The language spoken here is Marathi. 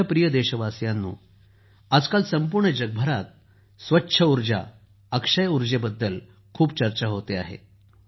माझ्या प्रिय देशवासियांनो आजकाल संपूर्ण जगभरात स्वच्छ ऊर्जा अक्षय ऊर्जेबद्दल खूप चर्चा होते आहे